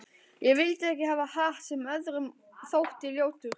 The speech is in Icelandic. Ég vildi ekki hafa hatt sem öðrum þótti ljótur.